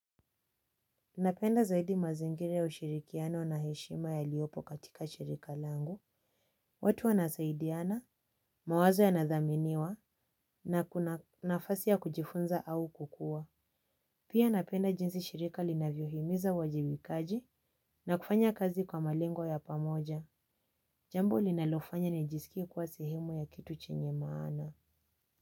Ninapenda zaidi mazingira ya ushirikiano na heshima yaliyopo katika shirika langu, watu wanasaidiana, mawazo yanadhaminiwa, na kuna nafasi ya kujifunza au kukua. Pia napenda jinsi shirika linavyohimiza wajibikaji na kufanya kazi kwa malengo ya pamoja. Jambo linalofanya nijisikie kuwa sihemu ya kitu chenye maana.